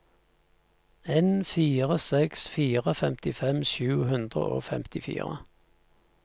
en fire seks fire femtifem sju hundre og femtifire